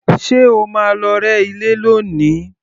Ṣé o máa lọ rẹ́ ilé lónìí?